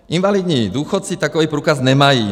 Invalidní důchodci takový průkaz nemají.